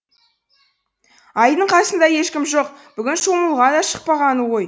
айдын қасында ешкім жоқ бүгін шомылуға да шықпағаны ғой